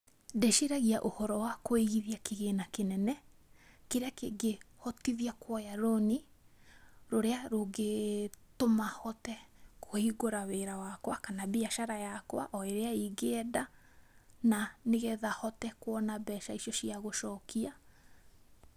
Ndĩciragia ũhoro wa kũigithia kĩgĩna kĩnene kĩrĩa kĩngĩhotithia kuoya rũni rũrĩa rũngitũma hote kũhingũra wĩra wakwa kana mbiacara yakwa o ĩrĩa ingĩenda na nĩgetha hote kuona mbeca icio cia gũcokia.